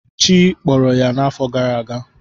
Chi kpọrọ ya n’afọ gara aga.